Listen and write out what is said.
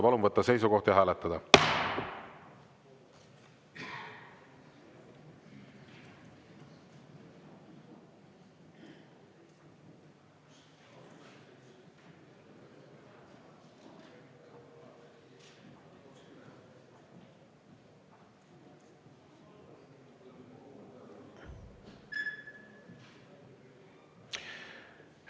Palun võtta seisukoht ja hääletada!